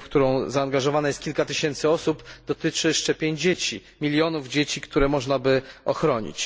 w którą zaangażowanych jest kilka tysięcy osób, dotyczy szczepień dzieci, milionów dzieci, które można by ochronić.